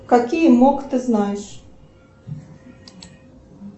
какие мог ты знаешь